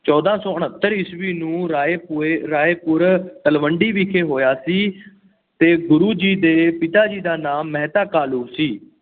ਚੋਦਾਂ ਸੌ ਉਨੱਤਰ ਈਸਵੀ ਨੂੰ ਰਾਏ ਭੋਏ ਰਾਏਪੁਰ ਤਲਵੰਡੀ ਵਿਖੇ ਹੋਇਆ ਸੀ ਅਤੇ ਗੁਰੂ ਜੀ ਦੇ ਪਿਤਾ ਜੀ ਦਾ ਨਾਮ ਮਹਿਤਾ ਕਾਲੂ ਸੀ।